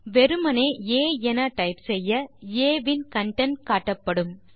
வெறுமே ஆ என டைப் செய்ய ஆ இன் கன்டென்ட் காட்டப்படும்